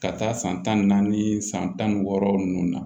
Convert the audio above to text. Ka taa san tan ni naani san tan ni wɔɔrɔ ninnu na